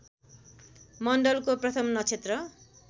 मण्डलको प्रथम नक्षत्र